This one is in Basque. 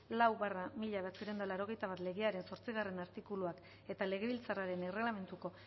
lau barra mila bederatziehun eta laurogeita bat legearen zortzigarrena artikuluan eta legebiltzarraren erregelamenduko